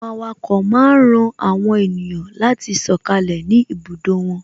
Àwọn awako máa ń ran àwọn ènìyàn láti sọkalẹ ni ibùdó wọn